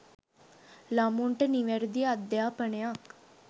ළමුන්ට නිවැරදි අධ්‍යාපනයක්